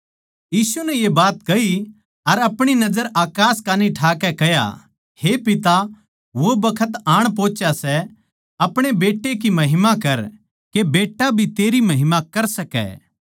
यीशु नै ये बात कही अर अपणी नजर अकास कान्ही ठाकै कह्या हे पिता वो बखत आण पहोंच्या सै अपणे बेट्टे की महिमा कर के बेट्टा भी तेरी महिमा कर सकै